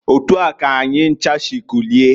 Otua k'anyi ncha si kulie.